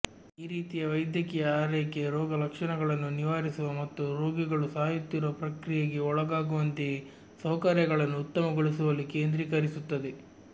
ಈ ರೀತಿಯ ವೈದ್ಯಕೀಯ ಆರೈಕೆ ರೋಗಲಕ್ಷಣಗಳನ್ನು ನಿವಾರಿಸುವ ಮತ್ತು ರೋಗಿಗಳು ಸಾಯುತ್ತಿರುವ ಪ್ರಕ್ರಿಯೆಗೆ ಒಳಗಾಗುವಂತೆಯೇ ಸೌಕರ್ಯಗಳನ್ನು ಉತ್ತಮಗೊಳಿಸುವಲ್ಲಿ ಕೇಂದ್ರೀಕರಿಸುತ್ತದೆ